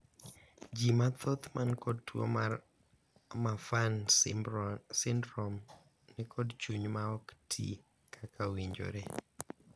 jii mathoth man kod tuo mar Marfan syndrome nikod chuny ma ok tii kaka owinjore